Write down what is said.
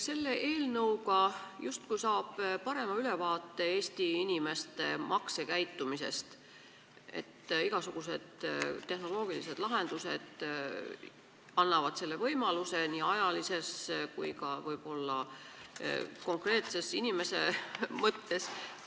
Selle eelnõu seaduseks saamisel saab justkui parema ülevaate Eesti inimeste maksukäitumisest – igasugused tehnoloogilised lahendused annavad selle võimaluse nii ajaliselt kui ka võib-olla konkreetse inimese mõttes.